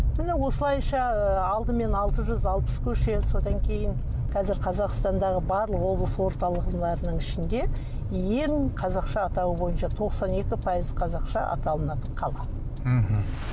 міне осылайша алдымен алты жүз алпыс көше содан кейін қазір қазақстандағы барлық облыс орталығы ішінде ең қазақша атауы бойынша тоқсан екі пайыз қазақша аталынады қала мхм